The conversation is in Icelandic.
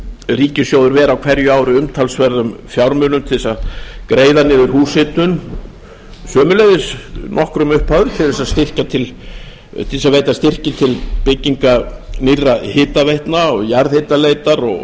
ríkissjóður ver á hverju ári umtalsverðum fjármunum til að greiða niður húshitun sömuleiðis nokkrum upphæðum til að veita styrki til bygginga nýrra hitaveitna jarðhitaleitar og